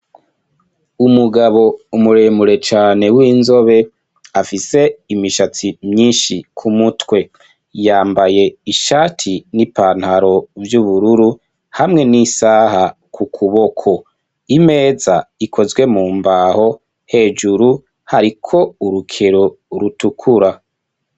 Umugabo muremure cane w'inzobe afise imishatsi myinshi ku mutwe yambaye ishati n'ipantaro vy'ubururu, hamwe n'isaha ku kuboko, imeza ikozwe mu mbaho hejuru hariko urukero rutukura.